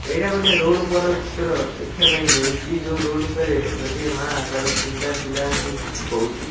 ଏଇଟା ଗୋଟେ ରୋଡ଼ ଉପର ଚିତ୍ର ଦେଖିବା ପାଇଁ ମିଳୁଛି। ଯେଉଁ ରୋଡ଼ ଉପରେ ଗୋଟିଏ ମାଆ ତାର ତିନିଟା ପିଲାକୁ କିଛି କହୁଛି।